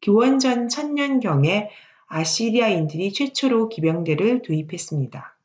기원전 1000년경에 아시리아인들이 최초로 기병대를 도입했습니다